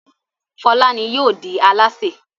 Fọlá ni yóò di alásè.